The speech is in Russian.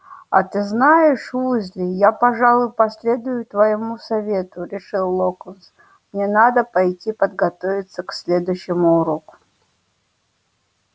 а ты знаешь уизли я пожалуй последую твоему совету решил локонс мне надо пойти подготовиться к следующему уроку